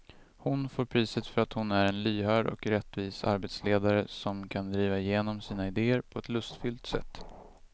Hon får priset för att hon är en lyhörd och rättvis arbetsledare som kan driva igenom sina idéer på ett lustfyllt sätt.